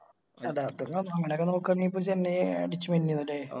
അതാ അങ്ങനൊക്കെ നോക്കരുന്നേ ഇപ്പൊ ചെന്നൈ അടിച്ച് മിന്നെന്നു ലെ